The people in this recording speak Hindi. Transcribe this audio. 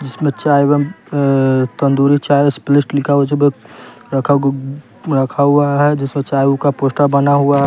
जिसमें चाय एवं अ तंदूरी चाय स्पलिस्ट लिखा हुआ रखा ग रखा हुआ है जिसमें चाय का पोस्टर बना हुआ है।